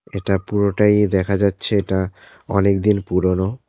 এটা পুরোটাই দেখা যাচ্ছে এটা অনেকদিন পুরোনো।